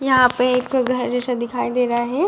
यहाँ पे एक घर जैसा दिखाई दे रहा है |